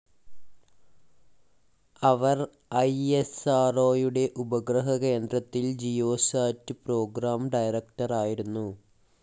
അവർ ഐഎസ്ആർഓയുടെ ഉപഗ്രഹ കേന്ദ്രത്തിൽ ജിയോസാറ്റ് പ്രോഗ്രാം ഡയറക്ടറായിരുന്നു.